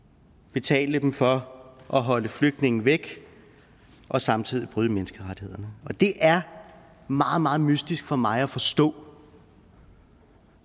betale dem for at holde flygtninge væk og samtidig bryde menneskerettighederne det er meget meget mystisk for mig at forstå